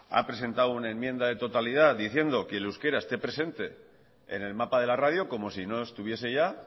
ha presentado una enmienda de totalidad diciendo que el euskera esté presente en el mapa de la radio como si no estuviese ya